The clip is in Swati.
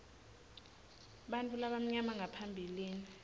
bantfu labamnyama ngaphambilini